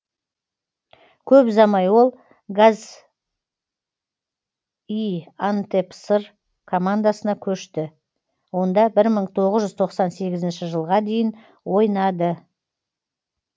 көп ұзамай ол газиантепспор командасында көшті онда бір мың тоғыз жүз тоқсан сегізінші жылға дейін ойнады